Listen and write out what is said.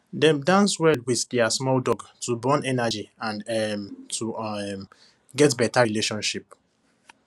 dem dance well with their small dog to burn energy and um to um get better relationship